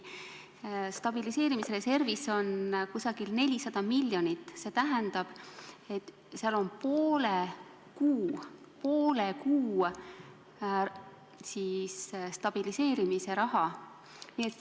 Stabiliseerimisreservis on umbes 400 miljonit, st seal on poole kuu stabiliseerimise raha.